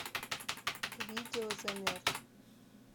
видео замерз